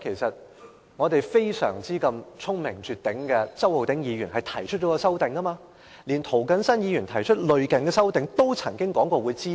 實際上，聰明絕頂的周浩鼎議員提出了一項修正案，並曾表示會支持涂謹申議員提出的類似修正案。